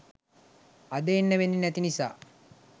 අද එන්න වෙන්නේ නැති නිසා